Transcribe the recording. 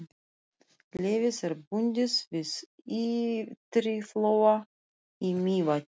Leyfið er bundið við Ytriflóa í Mývatni.